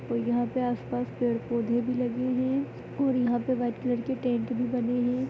और यहाँ पे आस पास पेड़-पौधे भी लगे हैअउर यहाँ पे वाइट कलर के टेंट भी बने है।